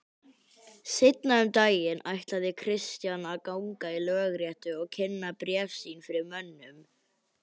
Seinna um daginn ætlaði Christian að ganga í lögréttu og kynna bréf sín fyrir mönnum.